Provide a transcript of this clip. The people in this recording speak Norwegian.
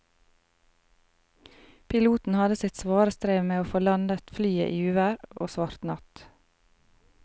Piloten hadde sitt svare strev med å få landet flyet i uvær og svart natt.